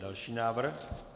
Další návrh?